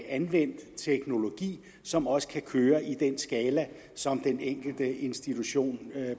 anvendt teknologi som også kan køre i den skala som den enkelte institution